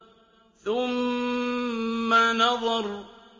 ثُمَّ نَظَرَ